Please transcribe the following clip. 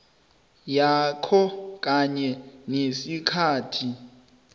yakho kanye nesikhathi